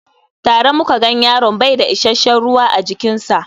Tare muka gan yaron baida isashen ruwa a jikin sa